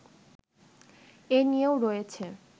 এ নিয়েও রয়েছে